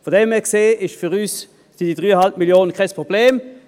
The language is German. So gesehen sind diese 3,5 Mio. Franken für uns kein Problem.